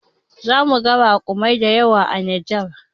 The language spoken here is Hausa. Zamuga raƙuma dayawa a Nijar